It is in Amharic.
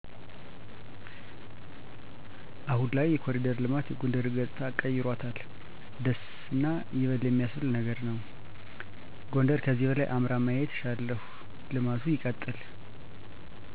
አሁን ላይ የኮሪደር ልማት የጎንደርን ገፅታ ቀይሮታል ደስ እና ይበል የሚስብል ነገር ነው። ጎንደር ከዚህ በላይ አምራ ማየት እሻለሁ ልማቱ ይበጥል